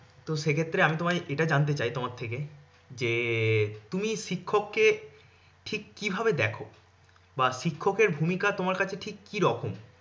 তো সেক্ষেত্রে আমি তোমায় এটা জানতে চাই তোমার থেকে যে তুমি শিক্ষক কে ঠিক কিভাবে দেখো? বা শিক্ষকের ভুমিকা তোমার কাছে ঠিক কি রকম?